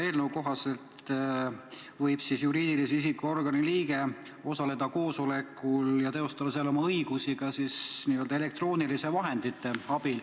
Eelnõu kohaselt võib juriidilise isiku organi liige osaleda koosolekul ja teostada seal oma õigusi ka elektrooniliste vahendite abil.